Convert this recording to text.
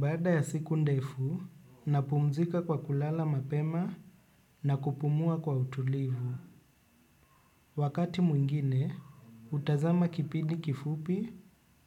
Baada ya siku ndefu, napumzika kwa kulala mapema na kupumua kwa utulivu. Wakati mwingine, hutazama kipindi kifupi